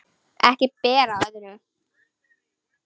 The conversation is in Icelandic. Ekki ber á öðru